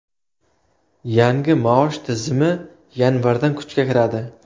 Yangi maosh tizimi yanvardan kuchga kiradi.